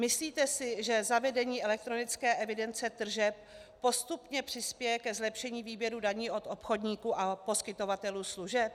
Myslíte si, že zavedení elektronické evidence tržeb postupně přispěje ke zlepšení výběru daní od obchodníků a poskytovatelů služeb?"